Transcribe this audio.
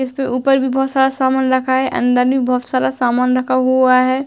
इसके ऊपर भी बहोत सारा सामान रखा है। अंदर भी बहोत सारा सामान रखा हुआ है।